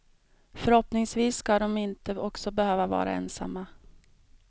Förhoppningsvis ska de inte också behöva vara ensamma.